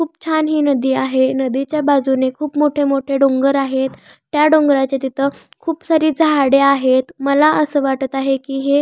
खूप छान हि नदी आहे नदीच्या बाजूने खूप मोठे मोठे डोंगर आहेत त्या डोंगराच्या तिथ खूप सारे झाडे आहेत मला अस वाटत आहे कि हे--